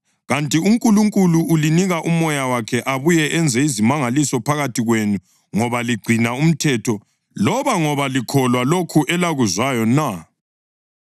Kanti uNkulunkulu ulinika uMoya wakhe abuye enze izimangaliso phakathi kwenu ngoba ligcina umthetho loba ngoba likholwa lokho elakuzwayo na?